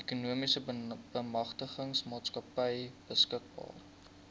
ekonomiese bemagtigingsmaatskappy beskikbaar